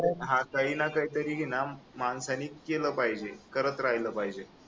काही ना काहीतरी ना माणसाने केलं पाहिजे करत राहिल पाहिजे